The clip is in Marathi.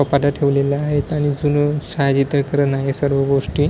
कपाटं ठेवलेला आहेत आणि जुनं करायलाय सर्व गोष्टी --